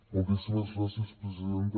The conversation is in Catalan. moltíssimes gràcies presidenta